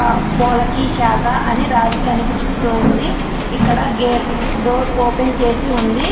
పోలకి శాఖ రాసి కనిపిస్తుంది ఇక్కడ ఒక గేటు డోర్ .